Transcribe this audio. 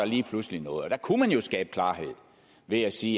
lige pludselig noget og der kunne man jo skabe klarhed ved at sige